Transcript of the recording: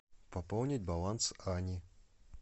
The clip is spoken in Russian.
пополнить баланс ани